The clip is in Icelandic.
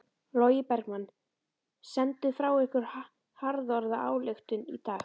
Logi Bergmann: Senduð frá ykkur harðorða ályktun í dag?